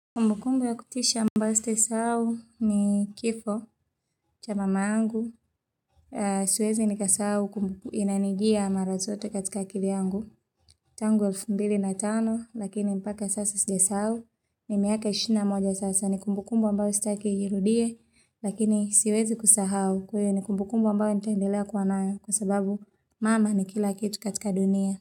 Kumbukumbu ya kutisha ambayo sitaisahau ni kifo, cha mama yangu. Siwezi nikaisahau kumbuko inanijia mara zote katika akili yangu. Tangu 2005, lakini mpaka sasa sija sahau, ni miaka 21 sasa. Ni kumbukumbu ambao staki ijirudie, lakini siwezi kusahau. Kwa hio ni kumbukumbu ambao nitaendelea kuwa nayo, kwa sababu mama ni kila kitu katika dunia.